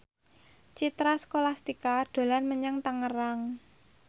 Citra Scholastika dolan menyang Tangerang